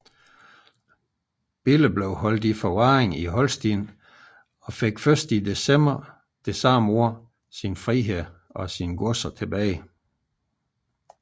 Bille blev holdt i forvaring i Holsten og fik først i december dette år sin frihed og sine godser tilbage